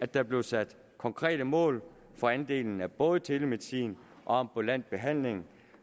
at der blev sat konkrete mål for andelen af både telemedicin og ambulant behandling